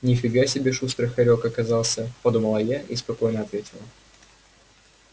ни фига себе шустрый хорёк оказался подумала я и спокойно ответила